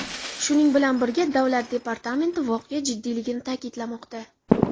Shuning bilan birga Davlat departamenti voqea jiddiyligini ta’kidlamoqda.